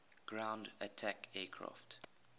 ground attack aircraft